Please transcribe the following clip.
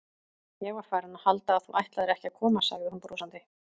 Ég var farin að halda að þú ætlaðir ekki að koma sagði hún brosandi.